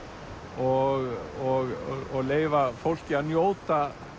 og leyfa fólki að njóta